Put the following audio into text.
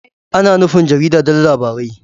Ana nufin jarida don labarai.